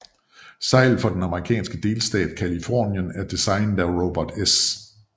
Seglet for den amerikanske delstat Californien er designet af Robert S